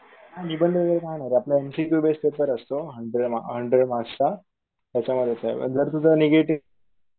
निबंध वगैरे काय नाय रे आपला M C Q base paper असतो हंड्रेड हंड्रेड मार्क्स चा त्याच्यांमध्येच आहे. जर तुझा नेगेटिव्ह